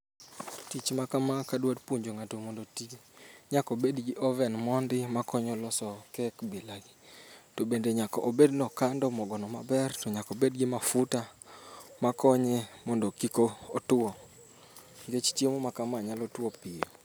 Tich makama kadwa puonjo ng'ato mondo otim nyaka obed gi oven mon di makonyo loso cake bilagi. Okando mogono maber to nyaka obed gi n mafuta makonye mondo kik otuo nikech chiemo makama tuo piyo.